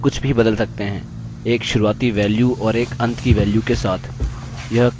यह काउंट करने के लिए आप पर छोड़ेगा